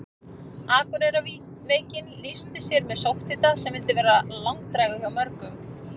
Akureyrarveikin lýsti sér með sótthita sem vildi vera langdrægur hjá mörgum.